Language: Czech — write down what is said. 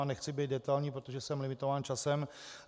A nechci být detailní, protože jsem limitován časem.